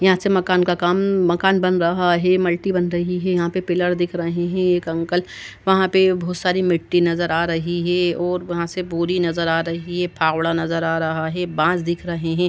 यहाँ से मकान का काम मकान बन रहा है। मल्टी बन रही है। यहाँ पे पिलर दिख रहे हैं। एक अंकल वहाँ पे भोत सारी मिट्टी नज़र आ रही है और वहाँ से बोरी नज़र आ रही है। फावड़ा नज़र आ रहा है। बांस दिख रहे हैं।